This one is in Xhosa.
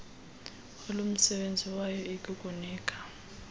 olumsebenzi wayo ikukunika